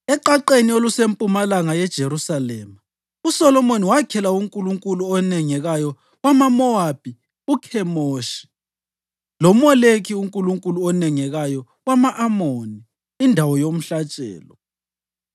Eqaqeni olusempumalanga yeJerusalema, uSolomoni wakhela unkulunkulu onengekayo wamaMowabi uKhemoshi, loMoleki unkulunkulu onengekayo wama-Amoni indawo yomhlatshelo.